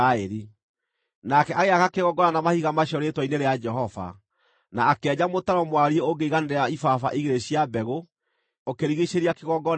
Nake agĩaka kĩgongona na mahiga macio rĩĩtwa-inĩ rĩa Jehova, na akĩenja mũtaro mwariĩ ũngĩiganĩra ibaba igĩrĩ cia mbegũ, ũkĩrigiicĩria kĩgongona kĩu.